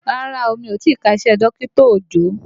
Rárá o, mi ò tìí ka iṣẹ́ dọkita Òjó.